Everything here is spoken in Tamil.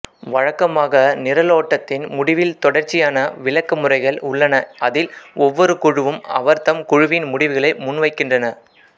வழக்கமாக நிரலோட்டத்தின் முடிவில் தொடர்ச்சியான விளக்கமுறைகள் உள்ளன அதில் ஒவ்வொரு குழுவும் அவர்தம் குழுவின் முடிவுகளை முன்வைக்கின்றன